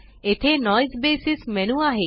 येथे नोइसे बसीस मेनू आहे